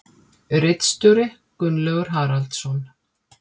Ritstjóri Gunnlaugur Haraldsson.